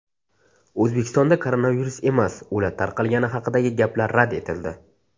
O‘zbekistonda koronavirus emas, o‘lat tarqalgani haqidagi gaplar rad etildi.